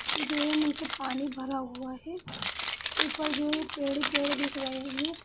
ये जो है नीचे पानी भरा हुआ है ऊपर जो है पेड़ ही पेड़ दिख रहे हैं।